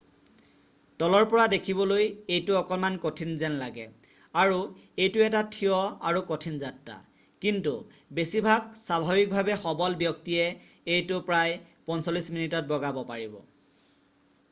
তলৰ পৰা দেখিবলৈ এইটো অকণমান কঠিন যেন লাগে আৰু এইটো এটা থিয় আৰু কঠিন যাত্ৰা কিন্তু বেছিভাগ স্বাভাৱিকভাৱে সবল ব্যক্তিয়ে এইটো প্ৰায় 45 মিনিটত বগাব পাৰিব